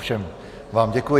Všem vám děkuji.